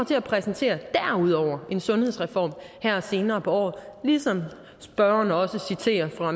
til at præsentere en sundhedsreform her senere på året ligesom spørgeren også citerer